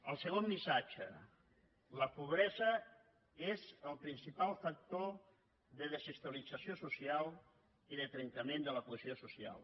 el segon missatge la pobresa és el principal factor de desestabilització social i de trencament de la cohesió social